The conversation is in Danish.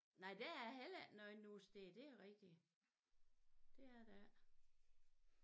Nej der er heller ikke noget nogen steder det rigtig det er der ikke